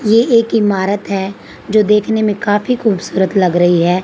ये एक इमारत है जो देखने में काफी सूरत लग रही है।